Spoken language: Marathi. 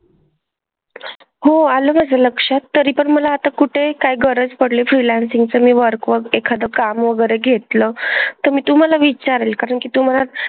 हो आलं माझ्या लक्षात. तरी पण मला आता कुठेही काय गरज पडली freelancing चं मी work व एखादं काम वगैरे घेतलं तर मी तुम्हाला विचारेल कारण की तुम्हाला,